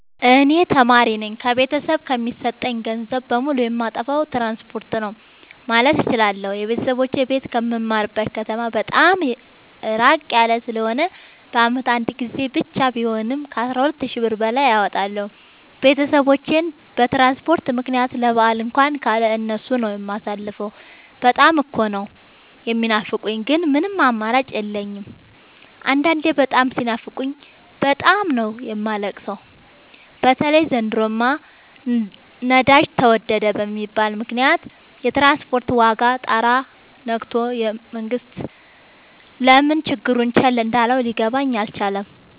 እኔ ተማሪነኝ ከቤተሰብ የሚሰጠኝን ገንዘብ በሙሉ ጨየማጠፋው ትራንስፖርት ነው። ማለት እችላለሁ። የቤተሰቦቼ ቤት ከምማርበት ከተማ በጣም እራቅ ያለ ስለሆነ በአመት አንድ ጊዜ ብቻ ቢሆንም ከአስራ ሁለት ሺ ብር በላይ አወጣለሁ። ቤተሰቦቼን በትራንስፖርት ምክንያት ለበአል እንኳን ካለ እነሱ ነው። የማሳልፈው በጣም እኮ ነው። የሚናፍቁኝ ግን ምንም አማራጭ የለኝም አንዳንዴ በጣም ሲናፍቁኝ በጣም ነው የማለቅ ሰው በተለይ ዘንድሮማ ነዳጅ ተወደደ በሚል ምክንያት የትራንስፖርት ዋጋ ጣራ የክቶል መንግስት ለምን ችግሩን ቸል እንዳለው ሊገባኝ አልቻለም።